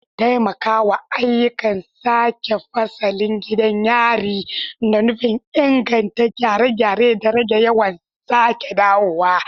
Taimakawa ayyukan sake fasalin gidan yari da nufin inganta gyare-gyare da rage yawan sake dawowa.